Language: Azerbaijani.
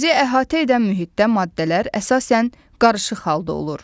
Bizi əhatə edən mühitdə maddələr əsasən qarışıq halda olur.